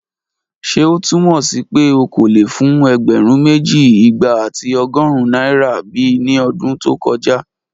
Ṣe o tumọ si pe o ko le fun ẹgbẹrun meji, igba ati ọgọrun naira bi ni ọdun to koja?